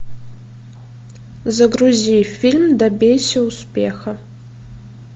загрузи фильм добейся успеха